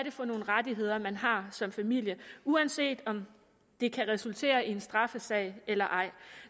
er for nogle rettigheder man har som familie uanset om det kan resultere i en straffesag eller ej